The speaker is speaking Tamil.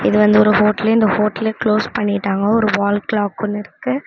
இது வந்து ஒரு ஹோட்டலு இந்த ஹோட்டல்ல க்ளோஸ் பண்ணிட்டாங்கோ ஒரு வால் கிளாக் ஒன்னு இருக்கு.